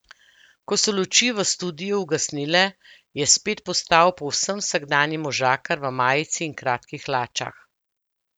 Ko so luči v studiu ugasnile, je spet postal povsem vsakdanji možakar v majici in kratkih hlačah.